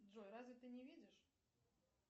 джой разве ты не видишь